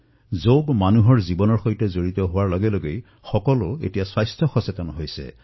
যোগ যিদৰে জনসাধাৰণৰ জীৱনৰ অংশ হবলৈ ধৰিছে জনসাধাৰণৰ মাজত নিজৰ স্বাস্থ্যক লৈ সজাগতা বৃদ্ধি হৈছে